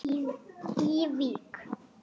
í Vík.